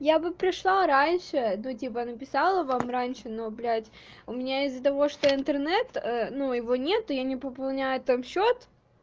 я бы пришла раньше ну типа написала вам раньше но блять у меня из-за того что интернет ну его нету я не пополняю там счёт